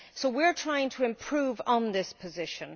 So we are trying to improve on this position.